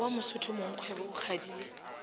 wa mosotho mongkgwebo o kgadile